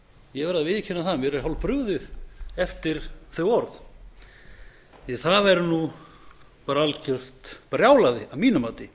ég verð að viðurkenna það að mér er hálfbrugðið eftir þau orð það er algert brjálæði að mínu mati